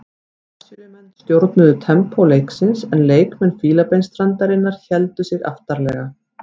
Brasilíumenn stjórnuðu tempó leiksins en leikmenn Fílabeinsstrandarinnar héldu sig aftarlega.